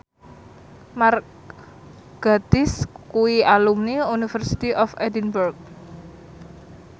Mark Gatiss kuwi alumni University of Edinburgh